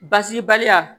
Basi baliya